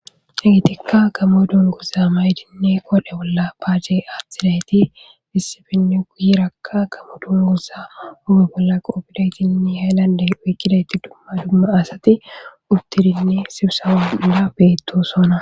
Muletika gamo dunguza mayidine qodhera bolla pace athidayti guyeraka gamo dunguza huphe bolla qopidaytine hayilande oykidaytine dumma dumma asati uttidi sibisaba hera hara betosona